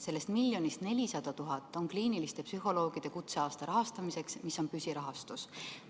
Sellest miljonist 400 000 eurot on ette nähtud kliiniliste psühholoogide kutseaasta rahastamiseks, see on püsirahastus.